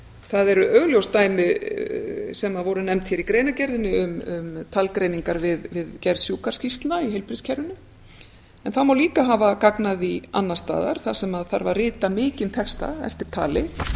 það eru augljós dæmi sem voru nefnd hér í greinargerðinni um talgreiningar við gerð sjúkraskýrslna í heilbrigðiskerfinu en það má líka hafa gagn af því annars staðar þar sem af að rita mikinn texta eftir tali